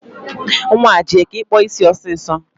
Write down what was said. Nwaa, jee ka ị kpụọ isi ọsịsọ